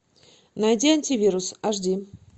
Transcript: найди антивирус аш ди